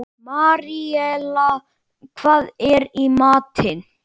Maríella, hvað er í matinn?